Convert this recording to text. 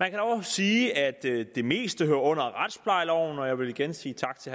man kan dog sige at det meste hører under retsplejeloven og jeg vil igen sige tak til